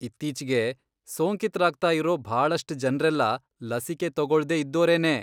ಇತ್ತೀಚ್ಗೆ ಸೋಂಕಿತ್ರಾಗ್ತಾ ಇರೋ ಭಾಳಷ್ಟ್ ಜನ್ರೆಲ್ಲ ಲಸಿಕೆ ತಗೊಳ್ದೇ ಇದ್ದೋರೇನೇ.